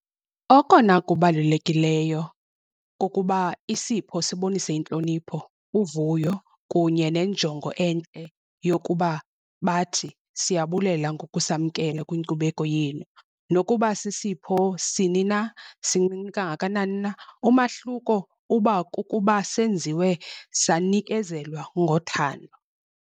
Okona kubalulekileyo kukuba isipho sibonise intlonipho, uvuyo kunye nenjongo entle yokuba bathi siyabulela ngokusamkela kwinkcubeko yenu. Nokuba sisipho sini na, sincinci kangakanani na umahluko uba kukuba senziwe sanikezelwa ngothando.